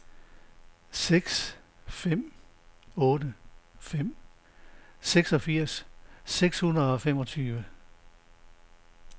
seks fem otte fem seksogfirs seks hundrede og femogtyve